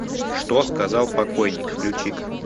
что сказал покойние включи ка